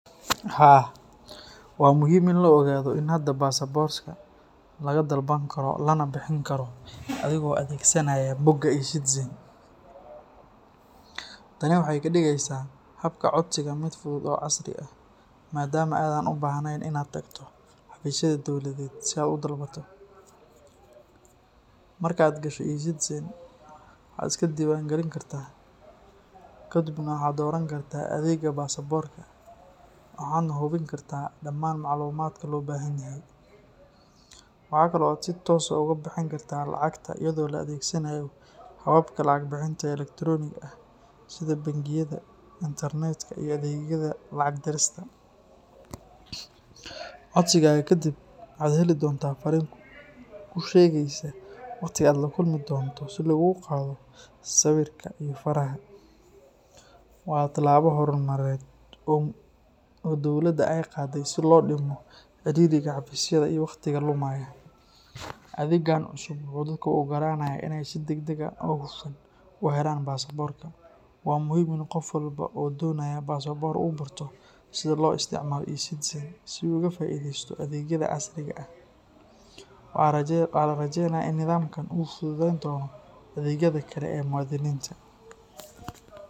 Haa, waa muhiim in la ogaado in hadda basaborka laga dalban karo lana bixin karo adigoo adeegsanaya bogga E-citizen. Tani waxay ka dhigaysaa habka codsiga mid fudud oo casri ah, maadaama aadan u baahnayn in aad tagto xafiisyada dowladeed si aad u dalbato. Marka aad gasho E-citizen, waxaad iska diiwaangelin kartaa, kadibna waxaad dooran kartaa adeegga baasaboorka, waxaadna buuxin kartaa dhammaan macluumaadka loo baahan yahay. Waxa kale oo aad si toos ah uga bixin kartaa lacagta iyadoo la adeegsanayo hababka lacag bixinta ee elektarooniga ah sida bangiyada internetka iyo adeegyada lacag dirista. Codsigaaga kadib, waxaad heli doontaa fariin kuu sheegaysa waqtiga aad la kulmi doonto si laguugu qaado sawirka iyo faraha. Waa tallaabo horumarineed oo dowladda ay qaaday si loo dhimo ciriiriga xafiisyada iyo waqtiga lumaya. Adeeggan cusub wuxuu dadka u ogolaanayaa in ay si degdeg ah oo hufan u helaan baasaboorka. Waa muhiim in qof walba oo doonaya baasaboor uu barto sida loo isticmaalo E-citizen si uu uga faa’iideysto adeegyada casriga ah. Waxaa la rajaynayaa in nidaamkan uu fududayn doono adeegyada kale ee muwaadiniinta.